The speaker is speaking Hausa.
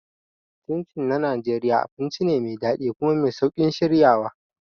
Chin Chin na Najeriya abinci ne mai daɗi kuma mai sauƙin shiryawa.